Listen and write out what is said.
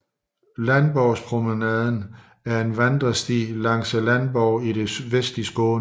Landborgspromenaden er en vandresti langs Landborgen i det vestlige Skåne